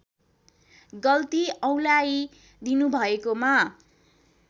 गल्ती औँल्याइ दिनुभएकोमा